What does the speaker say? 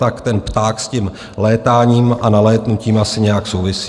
Tak ten pták s tím létáním a nalétnutím asi nějak souvisí.